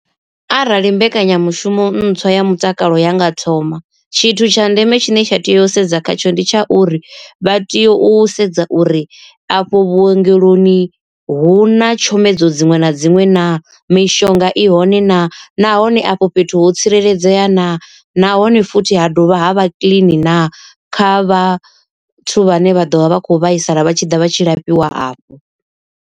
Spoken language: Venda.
Arali mbekanyamushumo ntswa ya mutakalo ya nga thoma, tshithu tsha ndeme tshine tsha tea u sedza khatsho ndi tsha uri vha tea u sedza uri afho vhuongeloni hu na tshomedzo dziṅwe na dziṅwe naa. Mishonga i hone naa nahone afho fhethu ho tsireledzea naa nahone futhi ha dovha ha vha kiḽini naa kha vhathu vhane vha ḓovha vha kho vhaisala vha tshi ḓa vha tshi lafhiwa afho.